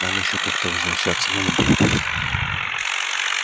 нам ещё как-то возвращаться надо будет